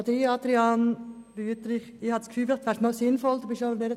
Adrian Wüthrich ist ja nahe an der Polizeiarbeit dran.